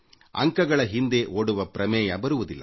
ಅಂಕಗಳ ಹಿಂದೆ ಓಡುವ ಪ್ರಮೇಯ ಬರುವುದಿಲ್ಲ